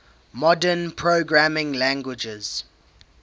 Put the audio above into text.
modern programming languages